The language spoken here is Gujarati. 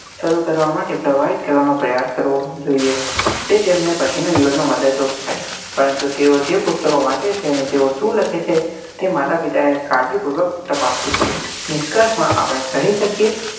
શરુ કરવા માટે પ્રવાહિત કરવા નો પ્રયાસ કરવો જોઈએ જે તેમને પછી ના જીવન માં મદદ રૂપ થાય પરંતુ તેઓ જે પુસ્તકો વાંચે છે અને તેઓ શું લખે છે તે માતા પિતા એ કાળજીપૂર્વક તપાસ કરવી discuss માં આપડે કહી શકીએ